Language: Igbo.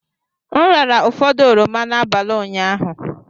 M rara ụfọdụ oroma n'abalị ụnyaahụ.